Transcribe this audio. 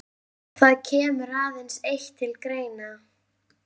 Það kemur aðeins eitt til greina.